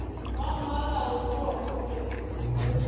wa mmaleruo o be o